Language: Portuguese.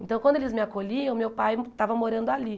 Então, quando eles me acolhiam, meu pai estava morando ali.